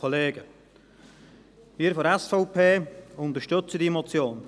Wir von der SVP unterstützen diese Motion.